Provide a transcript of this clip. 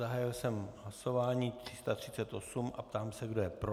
Zahájil jsem hlasování 338 a ptám se, kdo je pro.